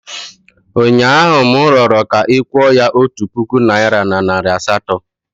Ụnyaahụ, m rịọrọ ka ị kwụọ ya otu puku naịra na nari asatọ.